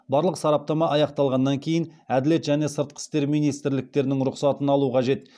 барлық сараптама аяқталғаннан кейін әділет және сыртқы істер министрліктерінің рұқсатын алу қажет